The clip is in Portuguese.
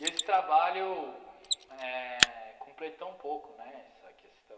E esse trabalho eh completou um pouco né essa questão.